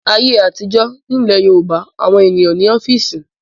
Ní ayé àtijọ́, nílẹ̀ Yorùbá àwọn ènìyàn ò ní ọ́fíísì.